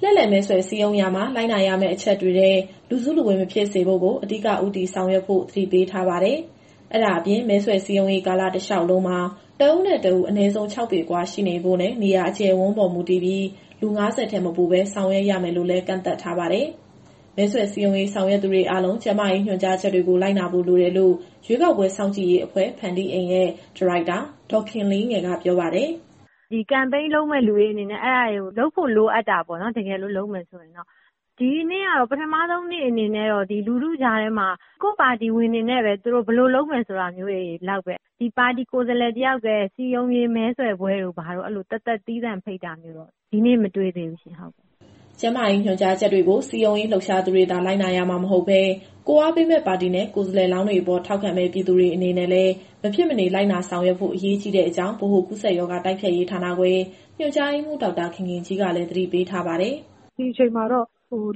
လှည့်လည်မဲဆွယ်စည်းရုံးရာမှာ လိုက်နာရမယ့်အချက်တွေထဲ လူစုလူဝေးမဖြစ်စေဖို့ကို အဓိက ဦးတည်ဆောင်ရွက်ဖို့ သတိပေးထားပါတယ်။ အဲဒါအပြင် မဲဆွယ်စည်းရုံးရေးကာလတလျှောက်လုံးမှာ တဦးနဲ့တဦး အနည်းဆုံး ၆ ပေအကွာရှိနေဖို့နဲ့ နေရာအကျယ်အဝန်းပေါ်မူတည်ပြီး လူ ၅၀ ထက်မပိုဘဲ ဆောင်ရွက်ရမယ်လို့လည်း ကန့်သတ်ထားပါတယ်။ မဲဆွယ်စည်းရုံးရေး ဆောင်ရွက်သူတွေအားလုံး ကျန်းမာရေးညွှန်ကြားချက်တွေကို လိုက်နာဖို့လိုအပ်တယ်လို့ ရွေးကောက်ပွဲစောင့်ကြည့်ရေးအဖွဲ့ဖန်တီးအိမ်ရဲ့ ဒါရိုက်တာ ဒေါ်ခင်လေးငယ်က ပြောပါတယ်။ “ဒီ Campaign လုပ်မယ့်လူတွေအနေနဲ့ အဲဒါတွေကို လုပ်ဖို့လိုအပ်တာပေါ့နော် တကယ်လို့လုပ်မယ်ဆိုရင်တော့။ ဒီနေ့ကတော့ ပထမဆုံးနေ့အနေနဲ့ လူထုကြားထဲမှာ ကိုယ့်ပါတီအနေနဲ့ပဲ သူတို့ဘယ်လိုလုပ်မယ် ဆိုတာလောက်ပဲ။ ပါတီကိုယ်စားလှယ်တယောက်ရဲ့ စည်းရုံးရေးမဲဆွယ်ပွဲတို့ ဘာတို့ အဲလိုသီးသန့်လုပ်တာမျိုးတော့ ဒီနေ့မတွေ့သေးဘူးရှင့်။” ကျန်းမာရေးညွှန်ကြားချက်တွေကို စည်းရုံးရေးလှုပ်ရှားသူတွေသာ လိုက်နာရမှာမဟုတ်ဘဲ ကိုယ်အားပေးမယ့် ပါတီနဲ့ ကိုယ်စားလှယ်လောင်းတွေအပေါ်ထောက်ခံမယ့်ပြည်သူတွေအနေနဲ့လည်း မဖြစ်မနေလိုက်နာဆောင်ရွက်ဖို့ အရေးကြီးတဲ့အကြောင်း ဗဟိုကူးစက်ရောဂါ တိုက်ဖျက်ရေးဌာနခွဲ ညွှန်ကြားရေးမှူး ဒေါက်တာခင်ခင်ကြီးကလည်း သတိပေးထားပါတယ်။ “ဒီအချိန်မှာတော့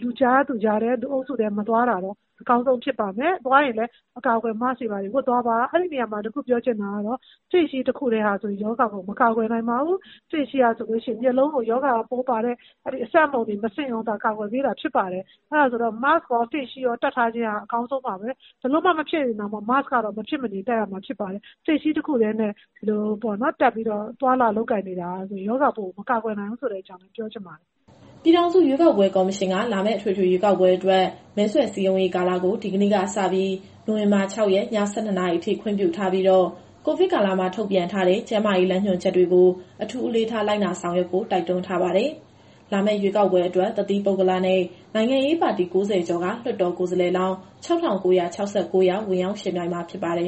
လူကြားသူကြားထဲ လူအုပ်စုထဲ မသွားတာတော့ အကောင်းဆုံးဖြစ်ပါမယ်။ သွားရင်လည်း အကာအကွယ် Mask တွေ ဘာတွေဝတ်သွားပါ။ အဲဒီနေရာမှာ တခုပြောချင်တာကတော့ Face Shield တခုတည်းဟာဆိုရင် ရောဂါကိုမကာကွယ်နိုင်ပါဘူး။ Face Shield ဟာဆိုရင် မျက်လုံးကိုရောဂါပိုးပါတဲ့ အစက်အမှုန်တွေ မစင်အောင်သာ ကာကွယ်ပေးတာဖြစ်ပါတယ်။ အဲဒါဆိုတော့ Mask ရော Face Shield ရော တပ်ထားခြင်းဟာ အကောင်းဆုံးပါပဲ။ ဘယ်လိုမှမဖြစ်ရင်တောင်မှ Mask ကတော့ မဖြစ်မနေတပ်ရမှာ ဖြစ်ပါတယ်။ Face Shield တခုတည်းတပ်ပြီးတော့ သွားလာလုပ်ကိုင်နေတာက ဒီရောဂါပိုးကို မကာကွယ်နိုင်ဘူးဆိုတဲ့အကြောင်း ပြောချင်ပါတယ်။” ပြည်ထောင်စုရွေးကောက်ပွဲကော်မရှင်က လာမယ့် အထွေထွေရွေးကောက်ပွဲအတွက် မဲဆွယ်စည်းရုံးရေးကာလကို ဒီကနေ့ကစပြီး နိုဝင်ဘာ ၆ရက် ည ၁၂ နာရီအထိ ခွင့်ပြုထားပြီး ကိုဗစ်ကာလမှာ ထုတ်ပြန်ထားတဲ့ ကျန်းမာရေးလမ်းညွှန်ချက်တွေကို အထူးအလေးထားလိုက်နာ ဆောင်ရွက်ဖို့ တိုက်တွန်းထားပါတယ်။ လာမယ့်ရွေးကောက်ပွဲအတွက် တသီးပုဂ္ဂလနဲ့ နိုင်ငံရေးပါတီ ၉၀ ကျော်က လွှတ်တော်ကိုယ်စားလှယ်လောင်း ၆,၉၆၉ ယောက် ဝင်ရောက်ယှဉ်ပြိုင်မှာ ဖြစ်ပါတယ်